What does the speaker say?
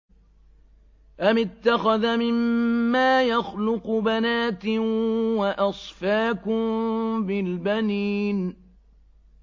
أَمِ اتَّخَذَ مِمَّا يَخْلُقُ بَنَاتٍ وَأَصْفَاكُم بِالْبَنِينَ